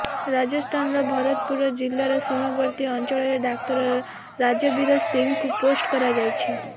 ରାଜସ୍ଥାନର ଭରତପୁର ଜିଲ୍ଲାର ସୀମାବର୍ତ୍ତୀ ଅଞ୍ଚଳରେ ଡାକ୍ତର ରାଜବୀର ସିଂହଙ୍କୁ ପୋଷ୍ଟ କରାଯାଇଛି